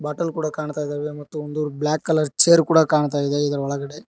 Bottle ಕೊಡ ಕಾಣ್ತಾ ಇದಾವೆ ಮತ್ತು ಒಂದು ಬ್ಲಾಕ್ ಕಲರ್ ಚೇರ್ ಕೊಡ ಕಾಣ್ತಾ ಇದೆ ಇದರ ಒಳಗಡೆ.